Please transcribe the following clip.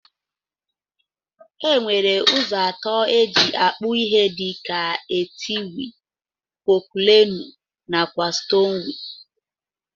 Enwere ụzọ atọ eji akpụ ihe dika: etiwee, pọculenu nakwa stonwee.